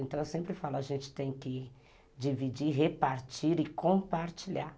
Então, eu sempre falo, a gente tem que dividir, repartir e compartilhar.